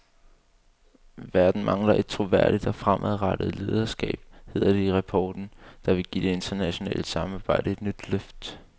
Verden mangler et troværdigt og fremadrettet lederskab, hedder det i rapporten, der vil give det internationale samarbejde et nyt løft.